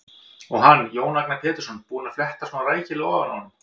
Og hann, Jón Agnar Pétursson, búinn að fletta svona rækilega ofan af honum!